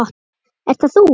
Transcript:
Ert það þú?